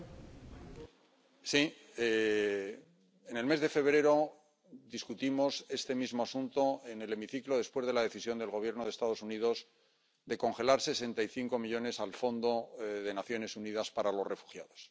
Señor presidente, en el mes de febrero discutimos este mismo asunto en el hemiciclo después de la decisión del Gobierno de los Estados Unidos de congelar 65 millones de su contribución al Fondo de las Naciones Unidas para los Refugiados.